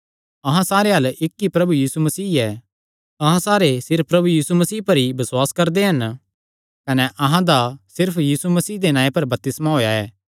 अहां सारेयां अल्ल इक्क ई प्रभु यीशु मसीह ऐ अहां सारे सिर्फ प्रभु यीशु मसीह पर ई बसुआस करदे हन कने अहां दा सिर्फ यीशु मसीह दे नांऐ पर बपतिस्मा होएया ऐ